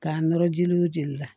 K'a nɔrɔ jeliw jeli la